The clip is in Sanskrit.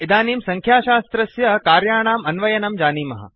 इदानीं संख्याशास्त्रस्य कार्याणाम् अन्वयनं जानीमः